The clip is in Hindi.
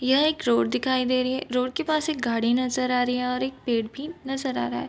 यह एक रोड दिखाई दे रही है रोड के पास एक गाड़ी नजर आ रही है और एक पेड़ भी नजर आ रहा है।